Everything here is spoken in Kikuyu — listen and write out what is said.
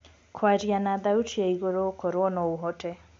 kwaria na thaũtĩ ya iguru okorwo no ũhote